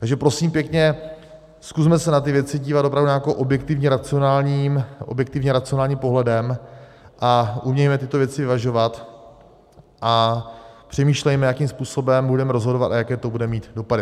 Takže prosím pěkně, zkusme se na ty věci dívat opravdu nějakým objektivně racionálním pohledem a umějme tyto věci vyvažovat a přemýšlejme, jakým způsobem budeme rozhodovat a jaké to bude mít dopady.